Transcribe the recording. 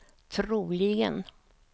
troligen